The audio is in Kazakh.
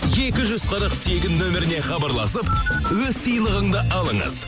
екі жүз қырық тегін нөміріне хабарласып өз сыйлығыңды алыңыз